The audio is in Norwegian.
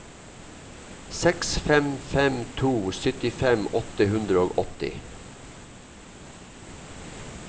seks fem fem to syttifem åtte hundre og åtti